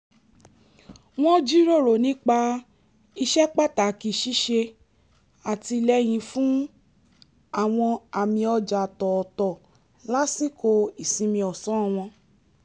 wọ́n jíròrò nípa ìṣẹ́pàtàkì ṣíṣe àtìlẹ́yìn fún àwọn àmì ọ̀jà tòótọ̀ lásìkò ìsinmi ọ̀sán wọn